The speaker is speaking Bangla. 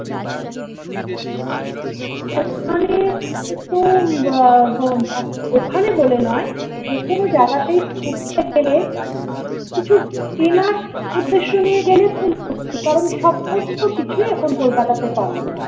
ওখানে তো ওখানে বলে নয় যেকোনো জায়গাতে উঠতে গেলে কিছু চেনার উদ্দেশ্য নিয়ে গেলে হচ্ছে কারণ সমস্ত কিছুই এখন kolkata তে পাওয়া যায়